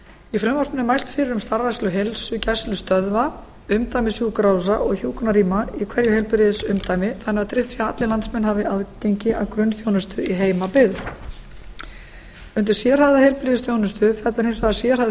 í frumvarpinu er mælt fyrir um starfrækslu heilsugæslustöðva umdæmissjúkrahúsa og hjúkrunarrýma í hverju heilbrigðisumdæmi þannig að tryggt sé að allir landsmenn hafi aðgengi að grunnþjónustu í heimabyggð undir sérhæfða heilbrigðisþjónustu fellur hins vegar sérhæfð